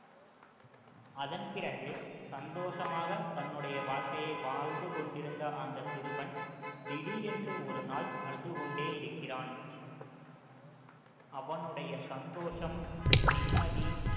அதன் பிறகு சந்தோஷமாக தன்னுடைய வாழ்க்கைய வாழ்ந்து கொண்டிருந்த அந்த சிறுவன் திடீரென்று ஒரு நாள் அழுது கொண்டே இருக்கிறான் அவனுடைய சந்தோஷம் நிம்மதி